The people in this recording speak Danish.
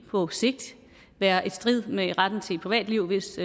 på sigt være i strid med retten til privatliv hvis